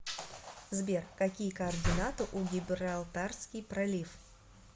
сбер какие координаты у гибралтарский пролив